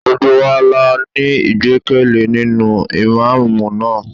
Gbogbo wa la ní ìgbẹ́kẹ̀lé nínú Ìmámúù náà.